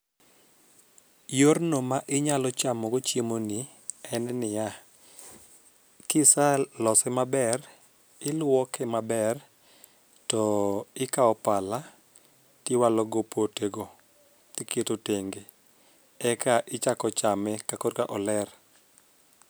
Yorno ma inyalo chamo go chiemo ni en niya, kisalose maber ,iluoke maber to ikawo pala tiwalo go pote go tiketo tenge eka ichako chame ka kore ka oler.